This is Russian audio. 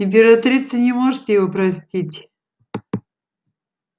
императрица не может его простить